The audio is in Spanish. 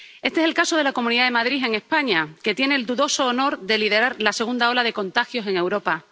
Este es el caso de la Comunidad de Madrid, en España, que tiene el dudoso honor de liderar la segunda ola de contagios en Europa.